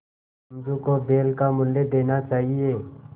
समझू को बैल का मूल्य देना चाहिए